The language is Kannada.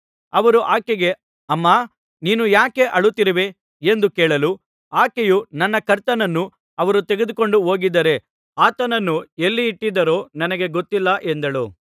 ಅವರು ಆಕೆಗೆ ಅಮ್ಮಾ ನೀನು ಯಾಕೆ ಅಳುತ್ತಿರುವೆ ಎಂದು ಕೇಳಲು ಆಕೆಯು ನನ್ನ ಕರ್ತನನ್ನು ಅವರು ತೆಗೆದುಕೊಂಡು ಹೋಗಿದ್ದಾರೆ ಆತನನ್ನು ಎಲ್ಲಿ ಇಟ್ಟಿದ್ದಾರೋ ನನಗೆ ಗೊತ್ತಿಲ್ಲ ಎಂದಳು